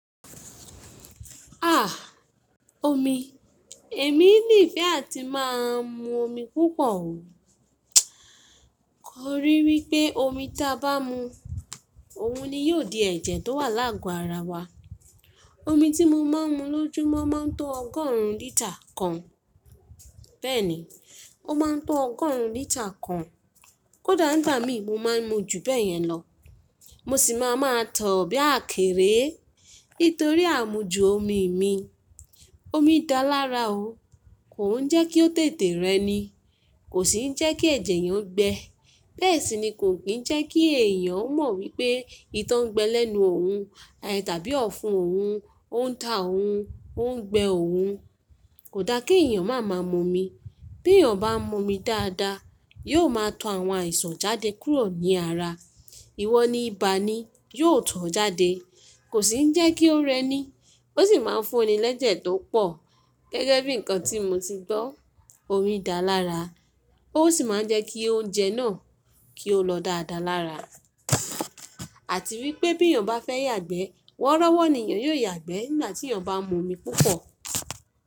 Àh omi, èmi ní ìfẹ́ àti máa ń mu omi púpọ̀ o. Kò rí wípé omi ta bá mu, òun ni yóò di ẹ̀jẹ̀ tó wà lágọ ara wa. Omi tí mo máa ń mu lójúmọ́ máa ń tó ọgọ́rùn lítà kan. Bẹ́ẹ̀ni, ó máa ń tó ọgọ́rùn lítà kan. Kódà nígbà mi mo máa ń mu jù bẹ́ẹ̀ yẹn lọ. Mo sì máa máa tọ̀ ọ́ bí àkérèé. Nítorí àmujù omi mi. Omi dá lára o. Kò ń jẹ́kí ó tètè rẹ ni, kò sì ń jẹ́kí ẹ̀jẹ̀ yẹn gbẹ. Bẹ́ẹ̀ sì ni kò kín ń jẹ́kí èèyàn ó mọ̀ wípé ìtọ́ ń gbẹ lẹ́nu òun, tàbí ọ̀fun òun, ó ń ta òun, ó ń gbẹ òun. Kò da kí èèyàn máa ma mu omi. Bí èèyàn bá mu omi dáadáa, yóò máa tọ àwọn àìsàn jáde kúrò ní ara. Iwọ́ ní ibà ni yóò tọ́ ọ jáde. Kò sì ń jẹ́kí ó rẹ ni, ó sì máa ń fúnni lẹ́jẹ̀ tó pọ̀. Gẹ́gẹ́ bí nǹkan tí mo ti gbọ́, omi dá lára. Ó sì máa ń jẹ́kí oúnjẹ náà kí ó lọ dáda lára. Àti wípé bí èèyàn bá fẹ́ yàgbẹ́, wọ́rọ́wọ́ ni èèyàn yóò yàgbẹ́ nígbà tí èèyàn bá mu omi púpọ̀.